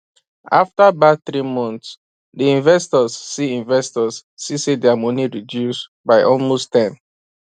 after bad three months d investors see investors see say dia money reduce by almost 10